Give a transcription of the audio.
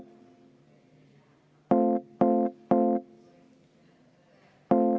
Selge.